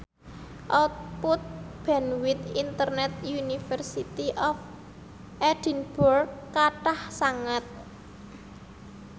output bandwith internet University of Edinburgh kathah sanget